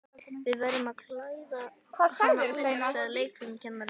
Við verðum að klæða hana úr, sagði leikfimikennarinn.